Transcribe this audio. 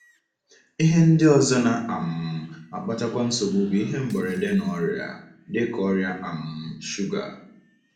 Ihe ndị ọzọ na um - akpatakwa nsogbu bụ ihe mberede na ọrịa, dị ka ọrịa um shuga.